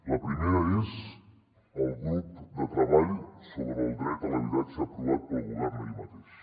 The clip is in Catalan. la primera és el grup de treball sobre el dret a l’habitatge aprovat pel govern ahir mateix